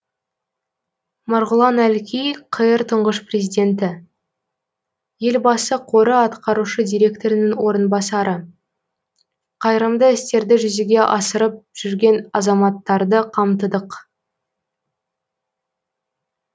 марғұлан әлкей қр тұңғыш президенті елбасы қоры атқарушы директорының орынбасары қайырымды істерді жүзеге асырып жүрген азаматтарды қамтыдық